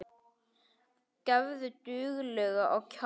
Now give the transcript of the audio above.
Gefðu duglega á kjaft.